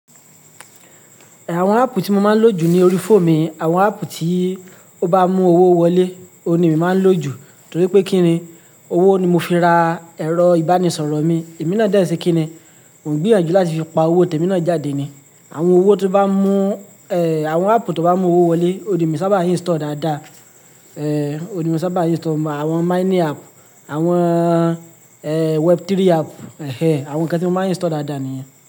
Àwọn app tí mo máa ń lò jù ni orí phone mì, àwọn app tí ó bá mú owó wọlé, òun ni èmi máa ń lò jù, torí pé kí ni, owó ni mo fi ra ẹ̀rọ ìbánisọ̀rọ̀ mi. Èmi náà dẹ̀ n se kíni, mo n gbìyànjú láti fi pa owó tèmi náà jáde ni. Àwọn owó tó bá mú, eh, àwọn app tó bá mú owó wọlé, òun le mi saábà install dáadáa. Eh, òun ni mo saábà install, àwọn mining app, àwọn, eh, web3 app, ehhen, àwọn ǹkan tí mo máa ń install dáadáa nìyẹn.